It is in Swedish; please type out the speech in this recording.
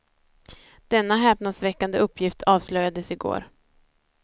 Denna häpnadsväckande uppgift avslöjades i går.